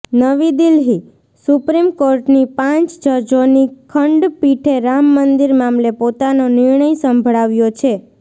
નવી દિલ્હીઃ સુપ્રીમ કોર્ટની પાંચ જજોની ખંડપીઠે રામ મંદિર મામલે પોતાનો નિર્ણય સંભળાવ્યો છે